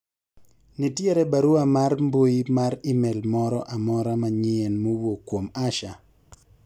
nitie barua mar mbui mar email moro amora manyien mowuok kuom Asha